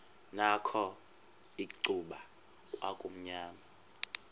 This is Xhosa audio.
nakho icuba kwakumnyama